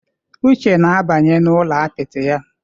Uche na-abanye n'ụlọ apịtị ya.